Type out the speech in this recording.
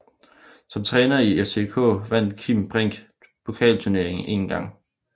Som træner i FCK vandt Kim Brink pokalturneringen en gang